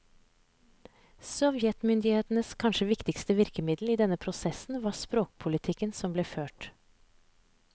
Sovjetmyndighetenes kanskje viktigste virkemiddel i denne prosessen var språkpolitikken som ble ført.